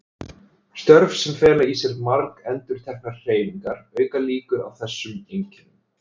Störf sem fela í sér margendurteknar hreyfingar auka líkur á þessum einkennum.